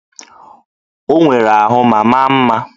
Ọ nwere ahụ ma maa mma